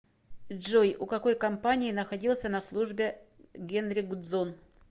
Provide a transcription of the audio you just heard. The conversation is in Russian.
джой у какой компании находился на службе генри гудзон